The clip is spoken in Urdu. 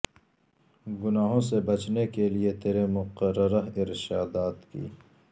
گناہوں سے بچنے کے لئے تیرے مقررہ ارشادات کی